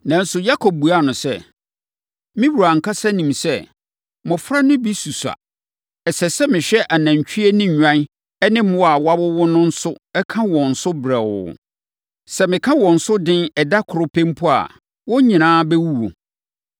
Nanso, Yakob buaa no sɛ, “Me wura ankasa nim sɛ, mmɔfra no bi susua. Ɛsɛ sɛ mehwɛ anantwie ne nnwan ne mmoa a wɔawowo no nso ka wɔn so brɛoo. Sɛ meka wɔn so den ɛda koro pɛ mpo a, wɔn nyinaa bɛwuwu.